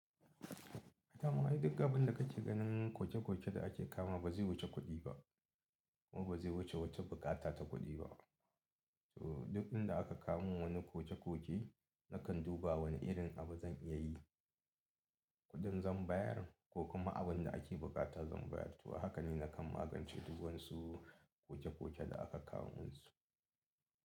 Kama dai duk abin da kake ganin koke-koke da ake kama ba zai wuce kuɗi ba kuma ba zai wuce wata buƙata ta kuɗi ba. To duk inda aka kawo min wani koke-koke nakan duba wane irin abu zan iya yi, kuɗin zan bayar ko kuma abin da ake buƙata zan bayar. To haka ne nakan magance duk wansu koke-koke da aka kawo min su.